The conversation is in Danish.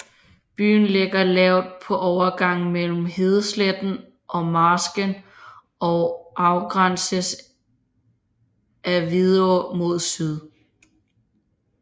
Byen ligger lavt på overgangen mellem hedesletten og marsken og afgrænses af Vidå mod syd